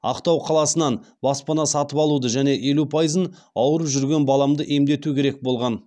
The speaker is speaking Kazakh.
ақтау қаласынан баспана сатып алуды және елу пайызын ауырып жүрген баламды емдету керек болған